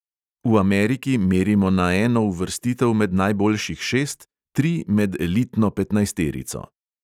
V ameriki merimo na eno uvrstitev med najboljših šest, tri med elitno petnajsterico.